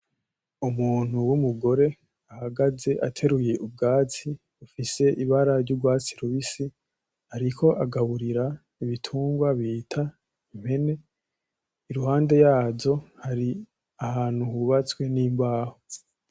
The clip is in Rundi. Umuntu w’umugore ahagaze ateruye ubwatsi bifise ibara ry’urwatsi rubisi ariko agaburira ibitungwa bita impene iruhande yazo hari ahantu hubatswe n’imbaho.